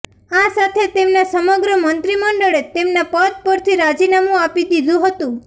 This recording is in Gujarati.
આ સાથે તેમના સમગ્ર મંત્રીમંડળે તેમના પદ પરથી રાજીનામું આપી દીધું હતુ